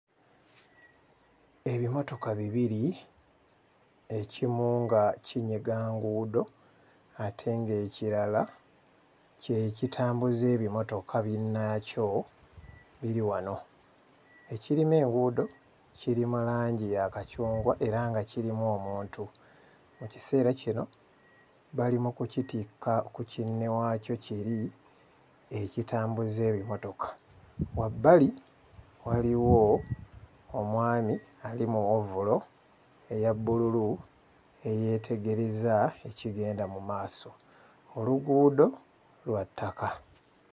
Ebimotoka bibiri, ekimu nga kinyiga nguudo ate ng'ekirala kye kitambuza ebimotoka binnaakyo biri wano. Ekirima enguudo kiri mu langi ya kacungwa era nga kirimu omuntu. Mu kiseera kino bali mu kukitikka ku kinne waakyo kiri ekitambuza ebimotoka. Wabbali wali waliwo omwami ali mu ovulo eya bbululu eyeetegereza ekigenda mu maaso; oluguudo lwa ttaka.